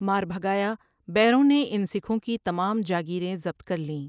ماربھگایا بیروں نے ان سکھوں کی تمام جاگیریں ضبط کر لیں ۔